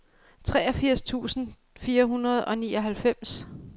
treogfirs tusind fire hundrede og nioghalvfems